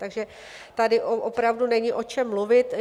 Takže tady opravdu není o čem mluvit.